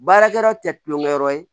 Baarakɛyɔrɔ tɛ kulonkɛ yɔrɔ ye